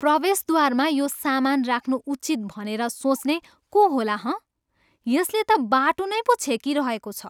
प्रवेशद्वारमा यो सामान राख्नु उचित भनेर सोच्ने को होला हँ? यसले त बाटो नै पो छेकिरहेको छ।